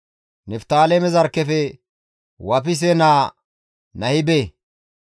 Niftaaleme zarkkefe Wafise naa Nahibe,